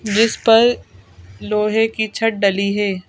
जिस पर लोहे की छड़ डली है।